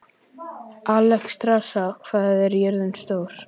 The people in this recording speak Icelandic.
Alexstrasa, hvað er jörðin stór?